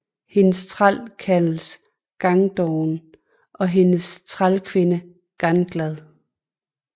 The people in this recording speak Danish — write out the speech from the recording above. Hendes træl kaldes Gangdoven og hendes trælkvinde Ganglad